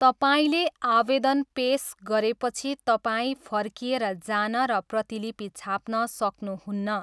तपाईँले आवेदन पेस गरेपछि तपाईँ फर्किएर जान र प्रतिलिपि छाप्न सक्नुहुन्न।